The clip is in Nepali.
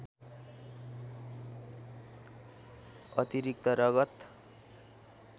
अतिरिक्त रगत